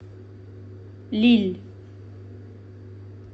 лилль